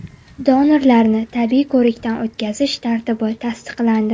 Donorlarni tibbiy ko‘rikdan o‘tkazish tartibi tasdiqlandi.